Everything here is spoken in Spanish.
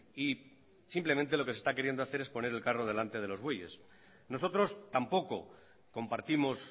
y simplemente lo que se está queriendo hacer es poner el carro delante de los bueyes nosotros tampoco compartimos